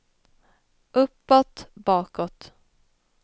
uppåt bakåt